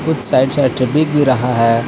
कुछ side side से बिक भी रहा है.